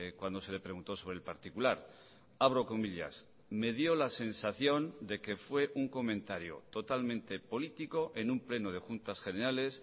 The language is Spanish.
cuando se le preguntó sobre el particular abro comillas me dio la sensación de que fue un comentario totalmente político en un pleno de juntas generales